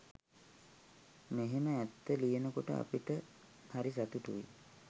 මෙහෙම ඇත්ත ලියනකොට අපිට හරි සතුටුයි.